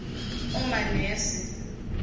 omanese